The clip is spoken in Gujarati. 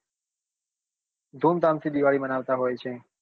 ધૂમધામ થી દિવાળી માનવતા હોય છે